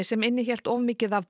sem innihélt of mikið af